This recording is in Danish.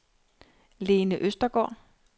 Lene Østergaard